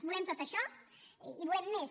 volem tot això i volem més